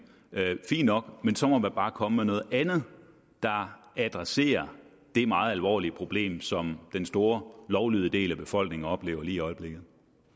fint nok men så må man bare komme med noget andet der adresserer det meget alvorlige problem som den store lovlydige del af befolkningen oplever lige i øjeblikket